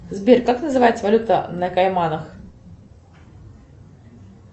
сбер как называется валюта на кайманах